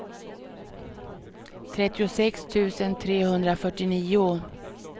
trettiosex tusen trehundrafyrtionio